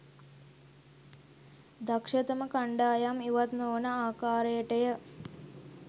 දක්ෂතම කණ්ඩායම් ඉවත් නොවන ආකාරයටය